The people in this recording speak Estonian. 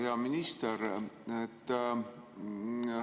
Hea minister!